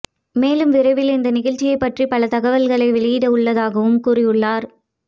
மேலும் விரைவில் இந்த நிகழ்சியை பற்றிய பல தகவல்களை வெளியிட உள்ளதாகவும் கூறியுள்ளார்